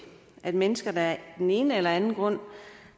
at mennesker der af den ene eller den anden grund